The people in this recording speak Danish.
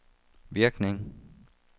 virkning